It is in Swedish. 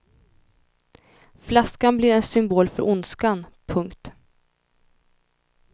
Flaskan blir en symbol för ondskan. punkt